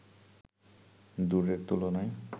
দূরের তুলনায়